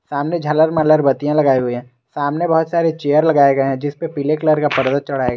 सामने झालर मालर बतिया लगाई हुई है सामने बहुत सारे चेयर लगाए गए हैं जिस पे पीले कलर का पर्दा चढ़ाया गया है।